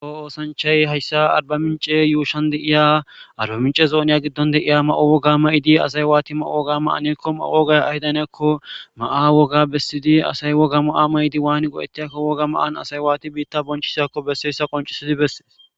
Kawo oosanchchay haysa Arba Mincce yuushsan di'iya Arba Mincca zoniya giddo de'iya mayo woga mayidi asay waatidi mayo woga mayanakonne mayo wogay ayigadan hanikakko mayo woga bessidi asay woga mayo maydi wani go'etiyakko woga mayo asay waatidi biitta bonchchisakko besesya qonccissidi beses.